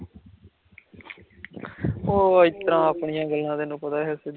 ਆਪਣੀਆਂ ਗੱਲਾਂ ਤੈਂਨੂੰ ਪਤਾ